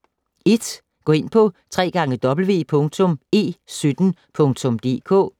1. Gå ind på www.e17.dk